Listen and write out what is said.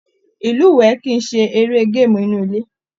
Ilúwẹ kìí ṣe eré gaamu inú ilé.